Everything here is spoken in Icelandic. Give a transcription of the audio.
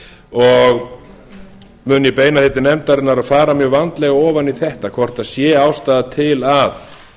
og mun ég beina því til nefndarinnar að fara mjög vandlega ofan í þetta hvort sé ástæða til að